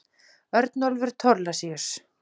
Örnólfur Thorlacius.